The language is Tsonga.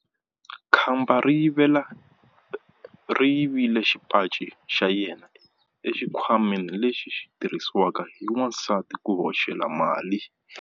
Khamba ri yivile xipaci xa yena exikhwameni lexi xi tirhisiwaka hi vavasati ku hoxela mali.